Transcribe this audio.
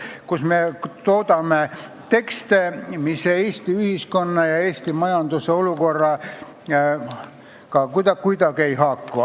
Muidu me toodame tekste, mis Eesti ühiskonna ja Eesti majanduse olukorraga kuidagi ei haaku.